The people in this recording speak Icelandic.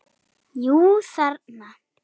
Jú, þarna!